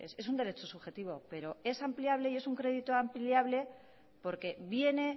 es un derecho subjetivo pero es ampliable y es un crédito ampliable porque viene